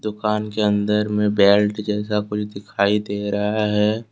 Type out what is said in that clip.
दुकान के अंदर में बेल्ट जैसा कुछ दिखाई दे रहा है।